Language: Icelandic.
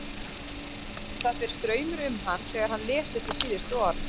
Það fer straumur um hann þegar hann les þessi síðustu orð.